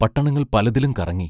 പട്ടണങ്ങൾ പലതിലും കറങ്ങി.